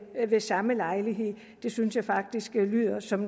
ved samme lejlighed det synes jeg faktisk lyder som